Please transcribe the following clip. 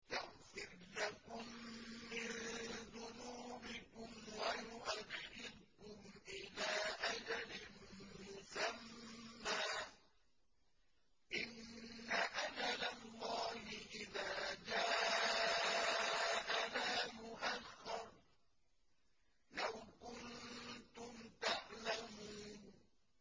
يَغْفِرْ لَكُم مِّن ذُنُوبِكُمْ وَيُؤَخِّرْكُمْ إِلَىٰ أَجَلٍ مُّسَمًّى ۚ إِنَّ أَجَلَ اللَّهِ إِذَا جَاءَ لَا يُؤَخَّرُ ۖ لَوْ كُنتُمْ تَعْلَمُونَ